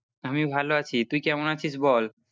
আমি ভালো আছি তুই কেমন আছিস বল।